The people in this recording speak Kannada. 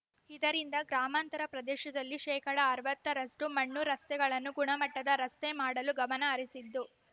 ಇದರಿಂದ ಗ್ರಾಮಾಂತರ ಪ್ರದೇಶದಲ್ಲಿ ಶೇಕಡಾ ಅರವತ್ತರಷ್ಟು ಮಣ್ಣು ರಸ್ತೆಗಳನ್ನು ಗುಣಮಟ್ಟದ ರಸ್ತೆ ಮಾಡಲು ಗಮನ ಹರಿಸಿದ್ದು